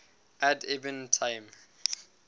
ad ibn taim